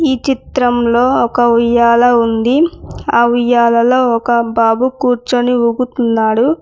ఈ చిత్రంలో ఒక ఉయ్యాల ఉంది ఆ ఉయ్యాలలో ఒక బాబు కూర్చొని ఊగుతున్నాడు.